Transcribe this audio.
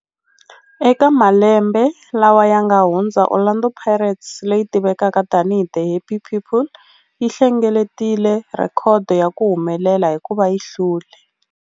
Eka malembe lawa yanga hundza, Orlando Pirates, leyi tivekaka tani hi 'The Happy People', yi hlengeletile rhekhodo ya ku humelela hikuva yi hlule.